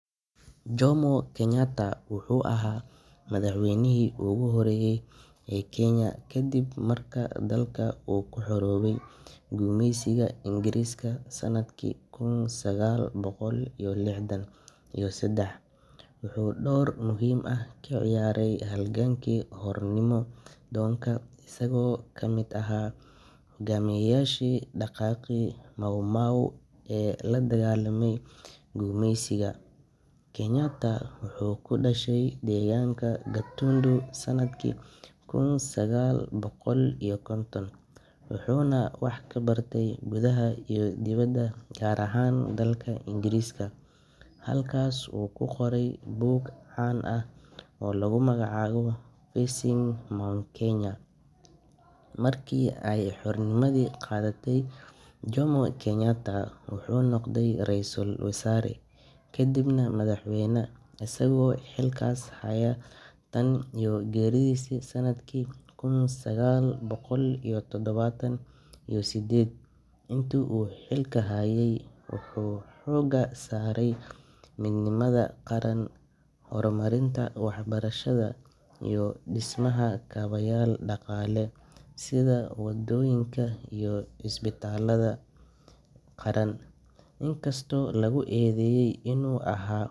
Wuxuu ahaa madax weynaha ugu horeeye Kenya, wuxuu door muhiim ah kaciyaare halganki xornimada, wuxuu kudashe deeganka katundu, wuxuu wax kabarte gudaha iyo dibada, marka xornimada la qaate wuxuu noqde raisul wazaara kadibna madax weyna, wuxuu dise wadooyin iyo isbitaala qaran.